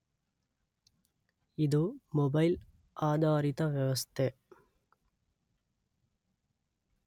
ಇದು ಮೊಬೈಲ್ ಆಧಾರಿತ ವ್ಯವಸ್ಥೆ